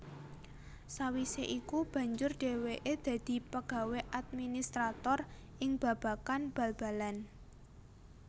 Sawisé iku banjur dhéwéké dadi pegawé administrator ing babagan bal balan